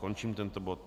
Končím tento bod.